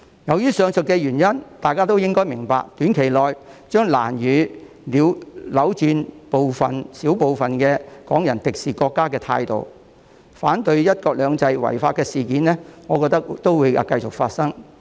基於上述原因，大家應該明白，短期內將難以扭轉小部分港人敵視國家的態度，我覺得反對"一國兩制"的違法事件將會繼續發生。